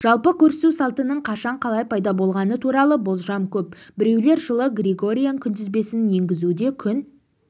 жалпы көрісу салтының қашан қалай пайда болғаны туралы болжам көп біреулер жылы григориан күнтізбесін енгізуде күн